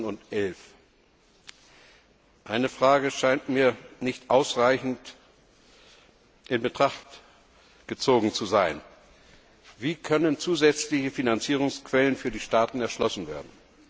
und 2011. Eine Frage scheint mir nicht ausreichend in Betracht gezogen zu sein Wie können zusätzliche Finanzierungsquellen für die Staaten erschlossen werden?